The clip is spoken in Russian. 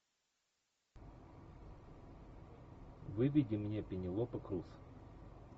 выведи мне пенелопа крус